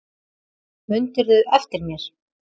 Mundirðu eftir mér?